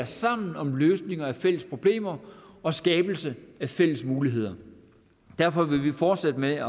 sammen om løsninger på fælles problemer og skabelse af fælles muligheder derfor vil vi fortsætte med